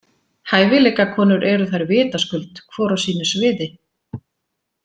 Hæfileikakonur eru þær vitaskuld, hvor á sínu sviði.